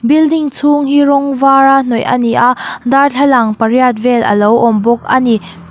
building chhung hi rawng vara hnawih a ni a darthlalang pariat vel alo awm bawk ani.